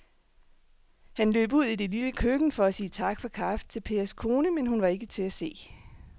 Han løb ud i det lille køkken for at sige tak for kaffe til Pers kone, men hun var ikke til at se.